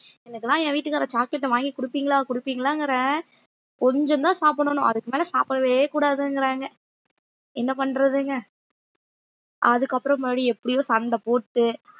எனக்கெல்லாம் என் வீட்டுக்காரர் chocolate அ வாங்கி கொடுப்பீங்களா கொடுப்பீங்களாங்கிறேன் கொஞ்சம்தான் சாப்பிடணும் அதுக்கு மேல சாப்புடவே கூடாதுங்குறாங்க என்ன பண்றதுங்க அதுக்கப்புறம் மறுபடியும் எப்படியோ சண்டை போட்டு